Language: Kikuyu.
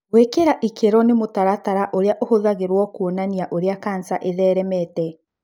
Gũĩkĩra ikĩro nĩ mũtaratara ũrĩa ũhũthagĩrwo kũonania ũrĩa kanca ĩtheremete.